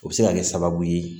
O bɛ se ka kɛ sababu ye